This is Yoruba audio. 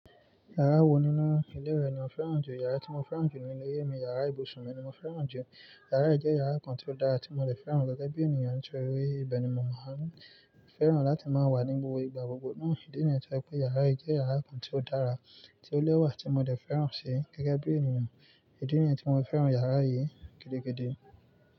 Yàrá wo nínú ilé rẹ ni ó fẹ́ràn jù? Yàrá tí mo fẹ́ràn jù nínú ilé yè mi yàrá ibùsùn mi ni mo fẹ́ràn jù. Yàrá yìí jẹ́ yàrá kan tí ó dára tí mo dẹ̀ fẹ́ràn gẹ́gẹ́ bí ènìyàn nítorí pé ibẹ̀ ni mo máa ń fẹ́ràn láti máa wà ní gbogbo ìgbà. Ìdí nìyẹn tí ọ pé yàrá yìí jẹ́ yàrá kan tí ó dára tí ó lẹ́wà tí mo dẹ̀ fẹ́ràn ṣe gẹ́gẹ́ bí ènìyàn. Èdí nìyẹn tí mo fẹ́ràn yàrá yìí gidi.